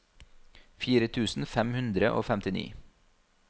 fire tusen fem hundre og femtini